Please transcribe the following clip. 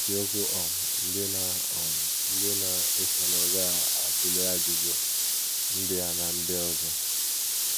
Isiokwu um ndị na um ndị na - esonụ ga - atụle ajụjụ ndị a na ndị ọzọ.